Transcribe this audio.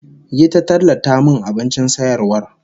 Yi ta tallata min abincin sayarwar